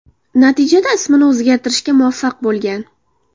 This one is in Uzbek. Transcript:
Natijada ismini o‘zgartirishga muvaffaq bo‘lgan.